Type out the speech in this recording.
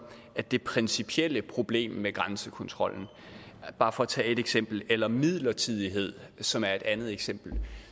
det principielle problem med grænsekontrollen bare for at tage et eksempel eller midlertidighed som er et andet eksempel